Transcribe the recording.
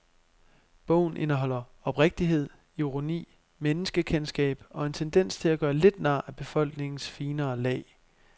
Bogen indeholder oprigtighed, ironi, menneskekendskab og en tendens til at gøre lidt nar af befolkningens finere lag.